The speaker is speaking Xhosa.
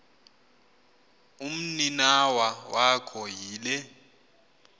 umninawa wakho yile